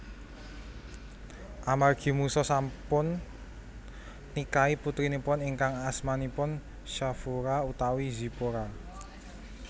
Amargi Musa sampun nikahi putrinipun ingkang asmanipun Shafura utawi Zipora